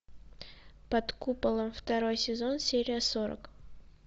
под куполом второй сезон серия сорок